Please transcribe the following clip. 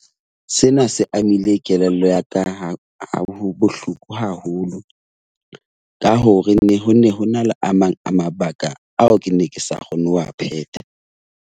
Sena se amile kelello ya ka ha bohloko haholo ka hore ho ne ho na le a mang a mabaka ao ke ne ke sa kgone ho a phetha.